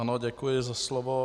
Ano, děkuji za slovo.